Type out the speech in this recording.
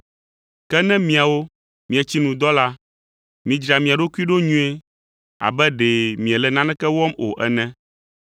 Ke ne miawo mietsi nu dɔ la, midzra mia ɖokui ɖo nyuie abe ɖe miele naneke wɔm o ene,